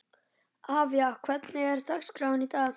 Avía, hvernig er dagskráin í dag?